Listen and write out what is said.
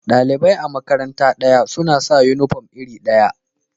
Dalibai a'makaranta daya suna sa uniform iri daya.